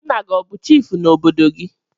Nna gi o bu chifu n'obodo gi?